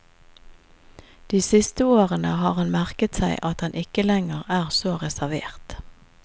De siste årene har han merket seg at han ikke lenger er så reservert.